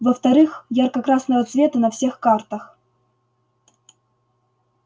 во-вторых ярко-красного цвета на всех картах